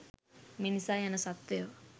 මිනිසා යන සත්ත්වයා